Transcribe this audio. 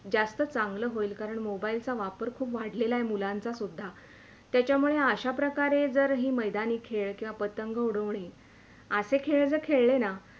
जास्त चांगला होईल कारण MOBILE चा वापर खूप वाढलेला आहे मुलांचा सुद्धा त्यामुळे अश्या प्रकारे हे जर मैदानी खेळ किवा पतंग उडवणे असे खेळ जर खेळ खेळले न